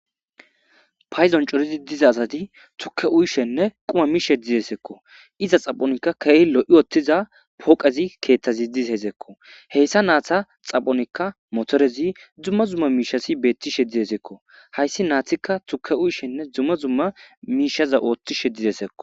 Paydon corid diza asati tuke uyishene quma mishe dizako, iza xaphonl akeehi lo'i utiza pooqezi keethazi dizesko, heysa naza xaphonika motorezi dumma dumma mishazi betishe dizesko, haysi nzika tuke uyishene dumma dumma mishaza oothishe dizesko